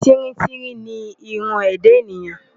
Tíríntírín ni irun ẹ̀dá ènìyàn.